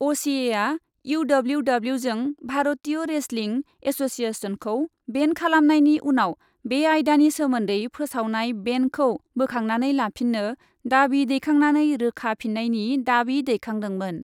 असिएआ इउडब्लिउडब्लिउजों भारतीय रेसलिं एस'सिएसनखौ बेन खालामनायनि उनाव बे आयदानि सोमोन्दै फोसावनाय बेनखौ बोखांनानै लाफिन्नो दाबि दैखांनानै रोखा फिन्नायनि दाबि दैखांदोंमोन।